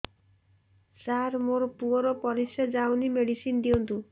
ସାର ମୋର ପୁଅର ପରିସ୍ରା ଯାଉନି ମେଡିସିନ ଦିଅନ୍ତୁ